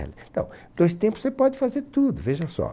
Então, dois tempos você pode fazer tudo, veja só.